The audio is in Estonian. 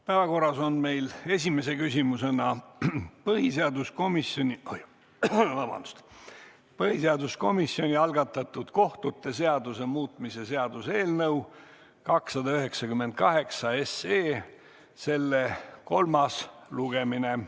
Päevakorras on meil esimese küsimusena põhiseaduskomisjoni algatatud kohtute seaduse muutmise seaduse eelnõu 298 kolmas lugemine.